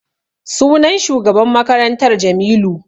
Sunan shugaban makarantar Jamilu.